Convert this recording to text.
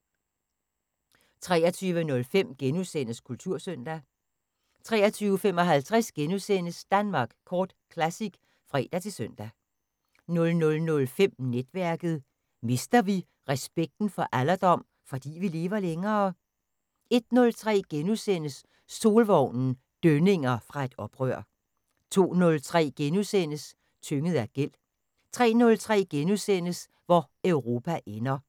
23:05: Kultursøndag * 23:55: Danmark Kort Classic *(fre-søn) 00:05: Netværket: Mister vi respekten for alderdom, fordi vi lever længere? 01:03: Solvognen – dønninger fra et oprør * 02:03: Tynget af gæld * 03:03: Hvor Europa ender * 04:03: